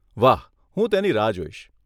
વાહ, હું તેની રાહ જોઈશ.